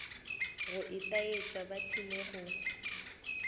go itaetša ba tlile go